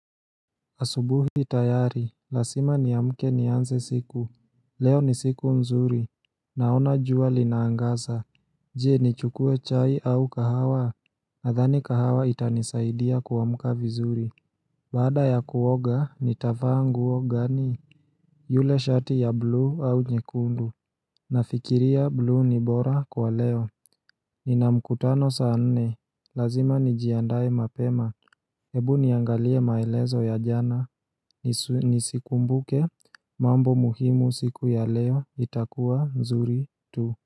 Asubuhi tayari, lazima niamke nianze siku, leo ni siku nzuri, naona jua linaangasa Je nichukue chai au kahawa, nadhani kahawa itanisaidia kuamka vizuri Baada ya kuoga, nitafaa nguo gani? Yule shati ya blue au nyekundu Nafikiria blue ni bora kwa leo Nina mkutano saa nne, lazima nijiandae mapema Ebu niangalie maelezo ya jana Nisikumbuke mambo muhimu siku ya leo itakuwa mzuri tu.